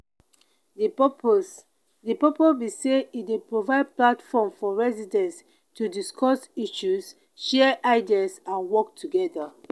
di purpose di purpose be say e dey provide platform for residents to discuss issues share ideas and work together.